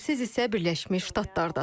Siz isə Birləşmiş Ştatlardasız.